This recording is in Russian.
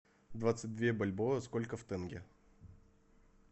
двадцать две бальбоа сколько в тенге